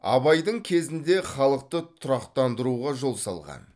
абайдың кезінде халықты тұрақтандыруға жол салған